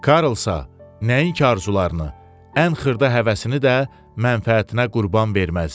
Karl isə nəinki arzularını, ən xırda həvəsini də mənfəətinə qurban verməzdi.